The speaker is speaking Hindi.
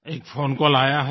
एक फोन कॉल आया है